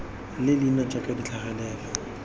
le leina jaaka di tlhagelela